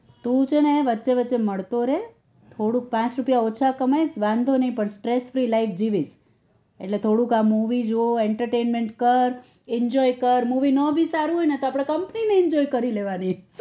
તું છે ને વચ્ચે વચ્ચે મળતો રે થોડુંક પાંચ રૂપિયા ઓછા કમાંઈસ ને વાંધો નઈ પણ સ્ટ્રેસફ્રી લાઇફ જીવીસ એટલે થોડુક આ મુવી જો entertainment કર enjoy કર movie ના સારું હોય તો આપડે કંપની ને enjoy કરી લેવાની